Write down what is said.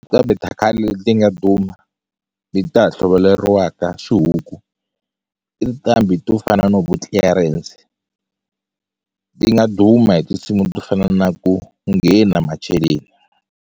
Qambhi ta khale ti nga duma leti ta ha hluvuleriwa xihuku i nqambi to fana no vo Clearance ti nga duma hi tinsimu to fana na ku nghena macheleni.